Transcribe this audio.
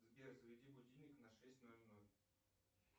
сбер заведи будильник на шесть ноль ноль